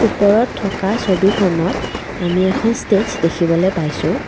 ওপৰত থকা ছবিখনত আমি এখন ষ্টেজ দেখিবলৈ পাইছোঁ।